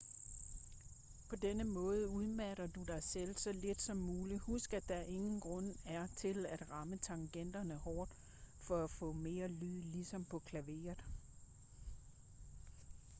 på denne måde udmatter du dig selv så lidt som muligt husk at der ingen grund er til at ramme tangenterne hårdt for at få mere lyd ligesom på klaveret